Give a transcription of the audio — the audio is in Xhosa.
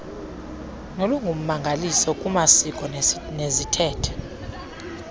nolungummangaliso lwamasiko neziithethe